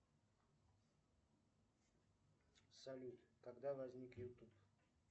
салют когда возник ютуб